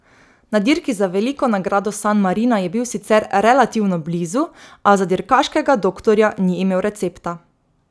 Na dirki za Veliko nagrado San Marina je bil sicer relativno blizu, a za dirkaškega doktorja ni imel recepta.